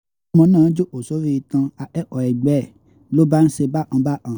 wọ́n lọmọ náà jókòó sórí ìtàn akẹ́kọ̀ọ́ ẹgbẹ́ ẹ̀ ló ló bá ń ṣe bákan bákan